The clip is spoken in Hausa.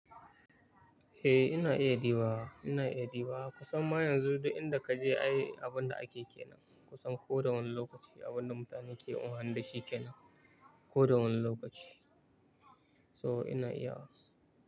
Eh ina iya dibawa, ina iya dibawa. Kusan ma yanzu duk inda kaje ai abunda ake kenan kusan ko da wane lokaci abunda mutane ke amfani dashi kenan ko da wani lokaci. So ina iya wa.